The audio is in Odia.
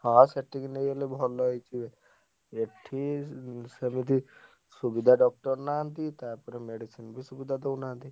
ହଁ ସେଠିକି ନେଇଗଲେ ଭଲ ହେଇଯିବେ। ଏଠି ସେମିତି ସୁବିଧା doctor ନାହାନ୍ତି ତାପରେ medicine ବି ସୁବିଧା ଦଉନାହାନ୍ତି।